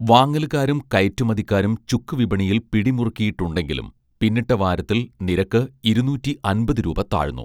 വാങ്ങലുകാരും കയറ്റുമതിക്കാരും ചുക്ക് വിപണിയിൽ പിടിമുറുക്കിയിട്ടുണ്ടെങ്കിലും പിന്നിട്ട വാരത്തിൽ നിരക്ക് ഇരുന്നൂറ്റി അൻപത് രൂപ താഴ്ന്നു